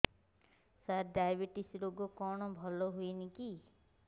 ସାର diabetes ରୋଗ କଣ ଭଲ ହୁଏନି କି